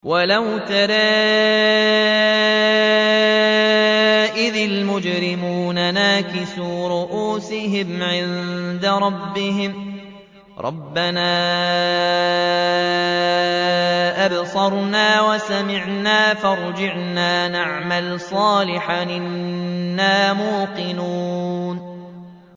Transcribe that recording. وَلَوْ تَرَىٰ إِذِ الْمُجْرِمُونَ نَاكِسُو رُءُوسِهِمْ عِندَ رَبِّهِمْ رَبَّنَا أَبْصَرْنَا وَسَمِعْنَا فَارْجِعْنَا نَعْمَلْ صَالِحًا إِنَّا مُوقِنُونَ